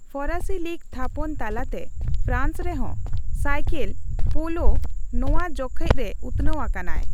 ᱯᱷᱚᱨᱟᱥᱤ league ᱛᱷᱟᱯᱚᱱ ᱛᱟᱞᱟᱛᱮ France ᱨᱮᱦᱚᱸ ᱥᱟᱭᱠᱮᱞ ᱯᱳᱞᱳ ᱱᱚᱣᱟ ᱡᱚᱠᱷᱮᱡ ᱨᱮ ᱩᱛᱱᱟᱹᱣ ᱟᱠᱟᱱᱟᱭ ᱾